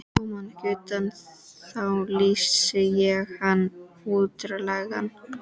Komi hann ekki utan, þá lýsi ég hann útlægan.